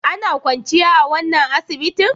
Ana kwanciya a wannan asibitin?